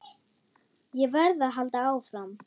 Ég verð að halda áfram.